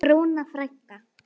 Rúna frænka.